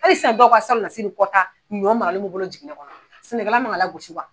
Halisa bɔw ka salon nasini kɔta ɲɔ maralen b'o bolo jiginɛ kɔnɔn sɛnɛkɛla man kan ka lagosi wa.